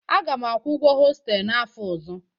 Aga m akwụ ụgwọ hostelu n'afọ ọzọ.